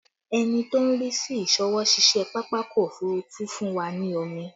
Ẹni tó ń rí sí ìsọwọ́-ṣiṣẹ́ pápákọ̀ òfurufú fún wa ní omi